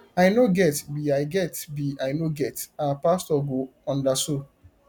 i no get be i get be i no get our pastor go ubderso